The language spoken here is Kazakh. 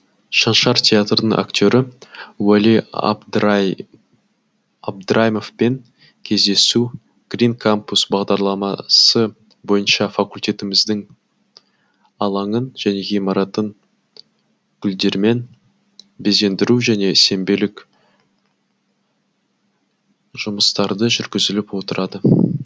шаншар театрының актеры уәли абдраимовпен кездесу грин кампус бағдарламасы бойынша факультетіміздің алаңын және ғимаратын гүлдермен безендіру және сенбелік жұмыстары жүргізіліп отырады